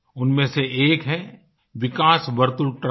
उनमें से एक है विकास वर्तुल ट्रस्ट